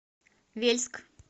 вельск